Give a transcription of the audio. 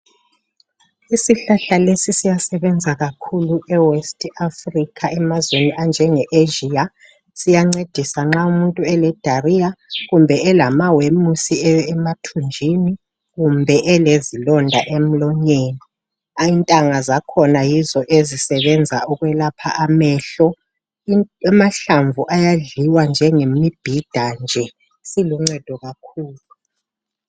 Isihlahla lesi siyasebenza kakhulu e west Africa emazweni anjenge Asia , siyancedisa nxa umuntu ele diarrhea kumbe elamawemusi emathunjini kumbe elezilonda emlonyeni , intanga zakhona yizo ezisebenzayo ukwelapha amehlo , amahlamvu ayadliwa njengemibhida nje siluncedo kakhulu